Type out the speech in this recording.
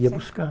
Ia buscar.